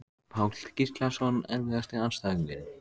Páll Gíslason Erfiðasti andstæðingur?